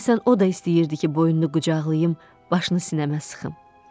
Deyəsən o da istəyirdi ki, boynunu qucaqlayım, başını sinəmə sıxım.